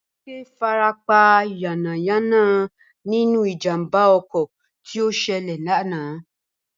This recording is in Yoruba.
Bímpé farapa yánnayànna nínú ìjàmbà okò tí ó selè lánàá